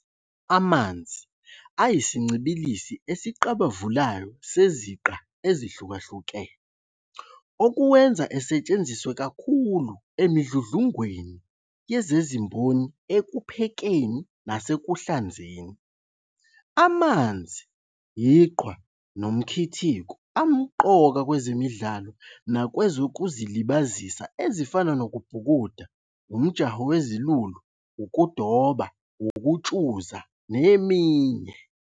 Amanzi ayisincibililisi esiqabavulayo seziqa ezihlukahlukene, okuwenza asetshenziswe kakhulu emidludlungweni yezezimboni ekuphekeni nasekuhlanzeni. Amanzi, iqhwa, nomkhithiko amqoka nakwezemidlalo nakwezokuzilibazisa ezifana nokubhukuda, umjaho wezilulu, ukudoba, ukutshuza neminye.